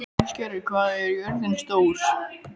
Ísgerður, hvað er jörðin stór?